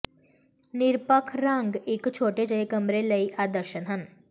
ਨਿਰਪੱਖ ਰੰਗ ਇਕ ਛੋਟੇ ਜਿਹੇ ਕਮਰੇ ਲਈ ਆਦਰਸ਼ ਹਨ